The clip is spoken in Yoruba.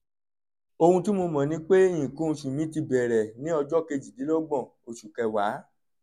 ohun tí mo mọ̀ ni pé nǹkan oṣù mí ti bẹ̀rẹ̀ ní ọjọ́ kejìdínlọ́gbọ̀n oṣù kẹwàá